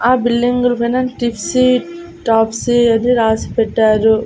ఆ బిల్డింగులు పైన టిప్సీ టాప్సీ అని రాసి పెట్టారు.